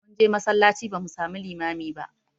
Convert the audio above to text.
Mun je masallaci ba mu samu limami ba